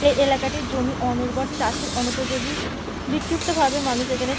এই এলাকারটি জমি অন উর্বর চাষের অনুপযোগী। বিক্ষিপ্তভাবে মানুষ এখানে --